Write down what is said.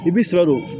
I bi siran o